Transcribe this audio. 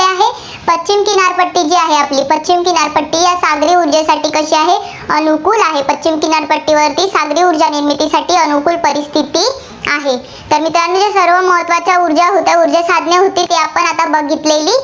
किनारपट्टी जी आहे आपली, पश्चिम किनारपट्टी या सागरी ऊर्जेसाठी कशी आहे, अनुकुल आहे. पश्चिम किनारपट्टीवर सागरी ऊर्जा निर्मितीसाठी अनुकुल परिस्थिती आहे. तर या महत्त्वाच्या ऊर्जा होत्या, ऊर्जासाधने होती, ती आपण आता बघितलेली